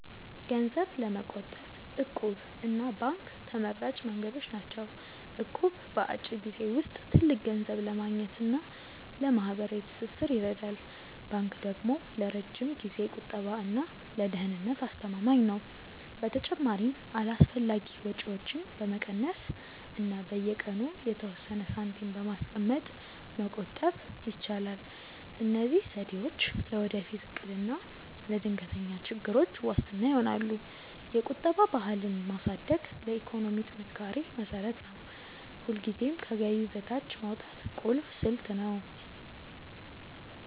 ገንዘብ ለመቆጠብ 'እቁብ' እና ባንክ ተመራጭ መንገዶች ናቸው። እቁብ በአጭር ጊዜ ውስጥ ትልቅ ገንዘብ ለማግኘት እና ለማህበራዊ ትስስር ይረዳል። ባንክ ደግሞ ለረጅም ጊዜ ቁጠባ እና ለደህንነት አስተማማኝ ነው። በተጨማሪም አላስፈላጊ ወጪዎችን በመቀነስ እና በየቀኑ የተወሰነ ሳንቲም በማስቀመጥ መቆጠብ ይቻላል። እነዚህ ዘዴዎች ለወደፊት እቅድ እና ለድንገተኛ ችግሮች ዋስትና ይሆናሉ። የቁጠባ ባህልን ማሳደግ ለኢኮኖሚ ጥንካሬ መሰረት ነው። ሁልጊዜም ከገቢ በታች ማውጣት ቁልፍ ስልት ነው።